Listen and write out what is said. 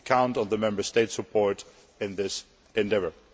We count on the Member States' support in this endeavour.